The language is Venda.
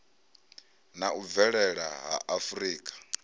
na u bvelela ha afurika